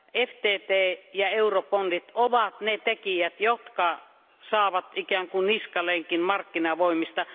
FTT ja Eurobondit ovat ne tekijät, jotka saavat ikään kuin niskalenkin markkinavoimista.